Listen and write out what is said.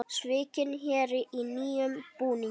Svikinn héri í nýjum búningi